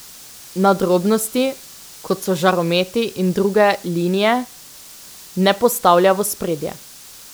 Nadrobnosti, kot so žarometi in druge linije, ne postavlja v ospredje.